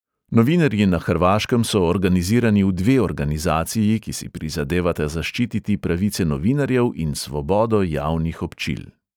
Novinarji na hrvaškem so organizirani v dve organizaciji, ki si prizadevata zaščititi pravice novinarjev in svobodo javnih občil.